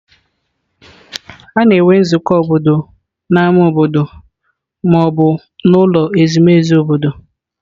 A na-enwe nzukọ obodo n'ámá obodo ma ọ bụ n'ụlọ ezumezu obodo